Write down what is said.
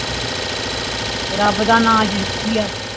rub ਦਾ ਨਾ ਜਿੰਦੀ ਆ